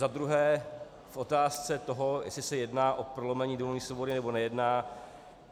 Za druhé k otázce toho, jestli se jedná o prolomení domovní svobody, nebo nejedná.